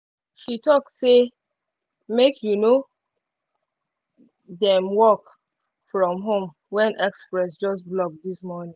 she talk say make um them work from home when express just block this morning